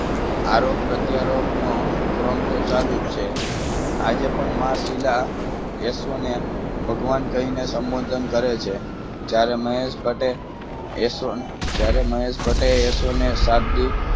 આરો પ્રત્યારોપનો ક્રમ તો ચાલુ જ છે આજે પણ મહાશિલા ઓશો ને ભગવાન કહીને સંબોધન કરે છે જ્યારે મહેશ ભટ્ટે ઓશો ને જ્યારે મહેશ ભાટે ઓશોની શાબ્દિક